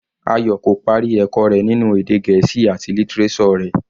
Ayò kò parí ẹ̀kọ́ rẹ̀ ninu èdè Gẹ̀ẹ́sì àti lítíréṣọ̀ rẹ̀.